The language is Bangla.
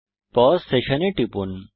পাউস সেশন এ টিপুন